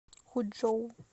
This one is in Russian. хучжоу